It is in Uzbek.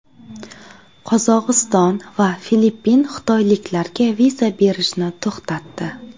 Qozog‘iston va Filippin xitoyliklarga viza berishni to‘xtatdi.